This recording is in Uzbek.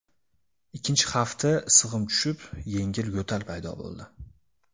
Ikkinchi hafta issig‘im tushib, yengil yo‘tal paydo bo‘ldi.